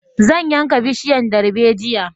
Zan yanka bishiyan darbejiya